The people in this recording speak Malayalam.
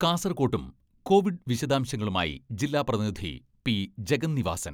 കാസർകോട്ടും കോവിഡ് വിശദാംശങ്ങളുമായി ജില്ലാ പ്രതിനിധി പി.ജഗന്നിവാസൻ.